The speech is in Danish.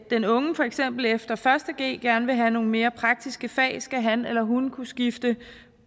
den unge for eksempel efter første g gerne vil have nogle mere praktiske fag skal han eller hun kunne skifte